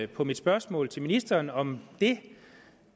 på mit spørgsmål til ministeren om det